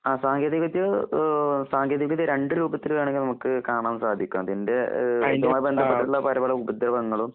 അ സാങ്കേതികവിദ്യ ഏഹ് സാങ്കേതികവിദ്യരണ്ട് രൂപത്തില് വേണോങ്കിനമുക്ക്കാണാൻസാധിക്കാം. അതിൻ്റെ ഏഹ് സമയംബന്ധപ്പെട്ടുള്ളപലപലഉപദ്രവങ്ങളും